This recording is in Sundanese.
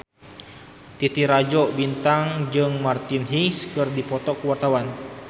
Titi Rajo Bintang jeung Martina Hingis keur dipoto ku wartawan